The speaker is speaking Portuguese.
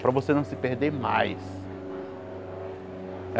Para você não se perder mais.